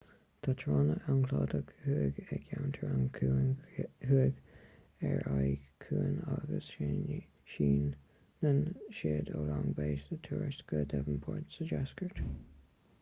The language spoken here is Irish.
tá tránna an chladaigh thuaidh i gceantar an chuain thuaidh ar an aigéan ciúin agus síneann siad ó long bay sa tuaisceart go devonport sa deisceart